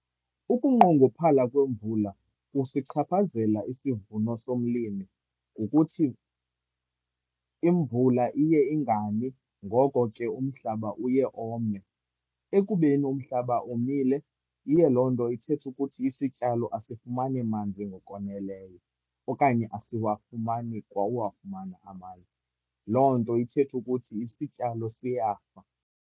Ukunqongophala kwemvula kusichaphazela isivuno somlimi ngokuthi imvula iye ingani. Ngoko ke umhlaba uye ome. Ekubeni umhlaba omile iye loo nto ithethe ukuthi isityalo asifumani manzi ngokwaneleyo, okanye asiwafumani kwa uwafumana amanzi. Loo nto ithethe ukuthi isityalo siyafa.